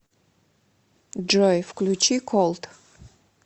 джой включи колд